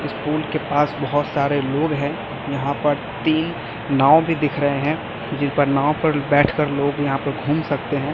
इस पूल के पास बहुत सारे लोग हैं यहां पर तीन नाव भी दिख रहे हैं जिन पर नाव पर बैठ कर लोग यहां पे घुम सकते हैं।